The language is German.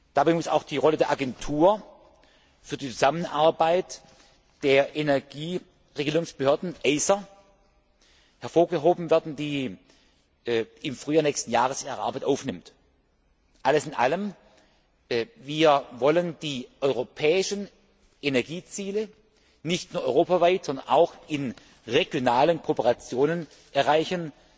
Dabei muss auch die Rolle der Agentur für die Zusammenarbeit der Energieregulierungsbehörden hervorgehoben werden, die im Frühjahr nächsten Jahres ihre Arbeit aufnimmt. Alles in allem wollen wir die europäischen Energieziele nicht nur europaweit, sondern auch in regionalen Kooperationen erreichen.